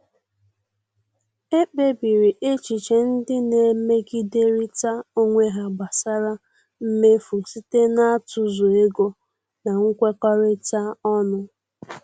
Ekpebiri echiche ndị na-emegiderịta onwe ha gbasara mmefu site n'atụzụ ego na nkwekọrịta ọnụ.